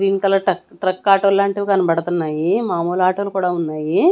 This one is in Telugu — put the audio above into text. గ్రీన్ కలర్ ట్రక్ ఆటో లాంటివి కనబడుతున్నాయి మామూలు ఆటోలు కూడా ఉన్నాయి.